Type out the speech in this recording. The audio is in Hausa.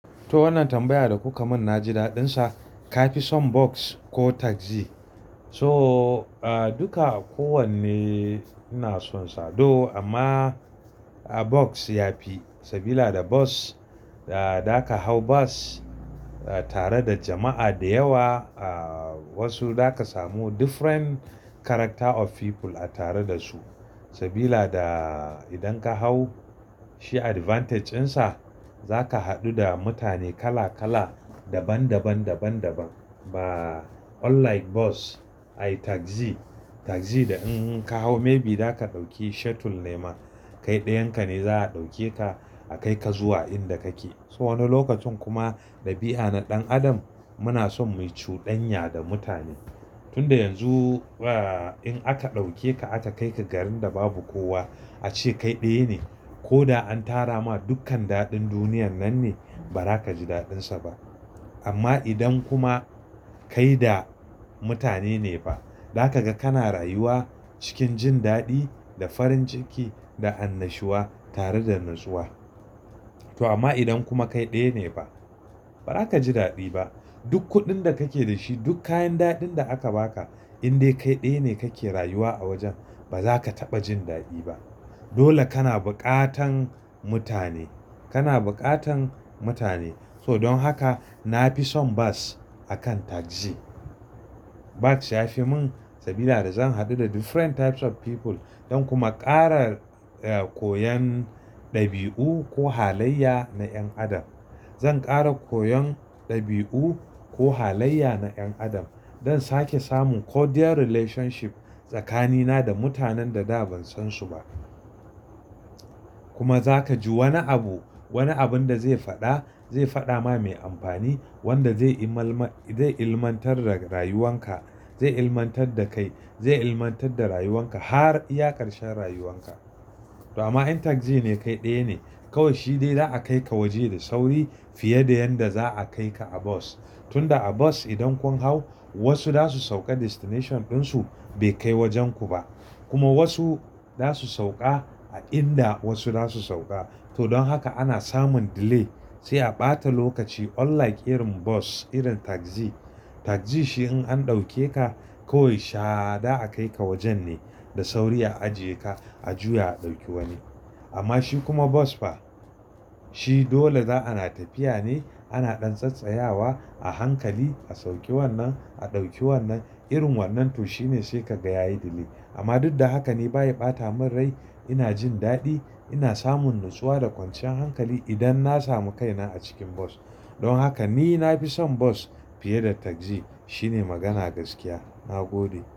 To wannan tambaya da kuka mun na ji daɗin sa. Ka fi son bus ko taxi? So duka kowanne ina son sa, though amma bus ya fi. Sabida da bus, da za ka hau bus tare da jama'a da yawa. Ah wasu za ka samu different character of people a tare da su. Sabida da idan ka hau shi advantage ɗin sa, za ka haɗu da mutane kala kala, daban, daban, daban, daban. Ba unlike bus ai taxi, taxi da in ka hau maybe za ka ɗauki shuttle ne ma. Kai ɗayan ka ne za a ɗauke ka a kai ka zuwa inda kake. So wani lokacin kuma ɗabi'a na ɗan adam muna son mu yi cuɗanya da mutane. Tun da yanzu ah in aka ɗauke ka aka kai ka garin da babu kowa ace kai ɗaya ne. Ko an tara ma dukkan daɗin duniyar nan ne ba za ka ji daɗin sa ba. Amma idan kuma kai da mutane ne ba, za ka ga kana rayuwa cikin jin daɗi da farin ciki da annashuwa tare da natsuwa. To amma idan kuma kai ɗaya ne fa, ba za ka ji daɗi ba. Duk kuɗin da kake da shi, duk kayan daɗin da aka ba ka in dai kai ɗaya ne kake rayuwa a wajen, ba za ka taɓa jin daɗi ba. Dole kana buƙatan mutane, kana buƙatan mutane. So don haka na fi son bus a kan taxi. Bus ya fi mun sabida da zan haɗu da different types of people za kuma ƙara koyon ɗabi'u ko halayya na ƴan adam. Zan ƙara koyon ɗabi'u ko halayya na ƴan adam. Zan sake samun cordial relationship tsakanina da mutanen da da ban san su ba. Kuma za ka ji wani abu, wani abun da zai faɗa, zai faɗa ma mai amfani, wanda zai ilmantar da rayuwan ka, zai ilmantar da kai, zai ilmantar da rayuwan ka har iya karshen rayuwan ka. To amma in taxi ne kai ɗaya ne, kawai shi dai za a kai ka waje da sauri fiye da yanda za a kai ka a bus. Tun da a bus idan kun hau wasu za su sauka destination ɗin su bai kai wajen ku ba. Kuma wasu za su sauƙa a inda wasu za su sauƙa. To don haka ana samun delay, sai a ɓata lokaci unlike irin bus irin taxi. Taxi shi in an ɗauke ka kawai sha da a kai ka wajen ne, da sauri a ajiye ka, a juya a ɗauki wani. Amma shi kuma bus fa shi dole za ana tafiya ne ana ɗan tsattsayawa a hankali. A sauke wannan, a ɗauki wannan, irin wannan to shi ne sai ka gaya yi delay. Amma duk da haka ni ba ya ɓata min rai. Ina jin daɗi, ina samun natsuwa da kwanciyar hankali idan na samu kaina a cikin bus. Don haka ni na fi son bus fiye da taxi. Shi ne magana gaskiya. Na gode.